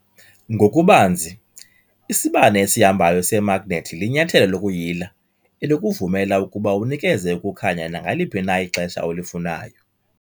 Ngokubanzi, isibane esihambayo semagnethi linyathelo lokuyila elikuvumela ukuba unikeze ukukhanya nangaliphi na ixesha olifunayo.